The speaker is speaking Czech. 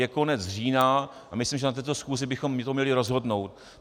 Je konec října a myslím, že na této schůzi bychom to měli rozhodnout.